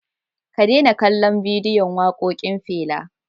Ka daina kallon bidiyon waƙoƙin Fela.